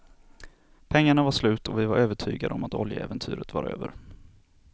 Pengarna var slut, och vi var övertygade om att oljeäventyret var över.